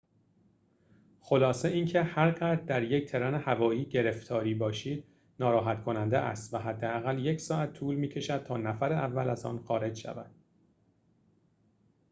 خلاصه اینکه هر قدر در یک ترن هوایی گرفتاری باشید ناراحت کننده است و حداقل یک ساعت طول می‌کشد تا نفر اول از آن خارج شود